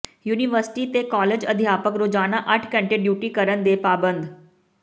university ਤੇ college ਅਧਿਆਪਕ ਰੋਜ਼ਾਨਾ ਅੱਠ ਘੰਟੇ ਡਿਊਟੀ ਕਰਨ ਦੇ ਪਾਬੰਦ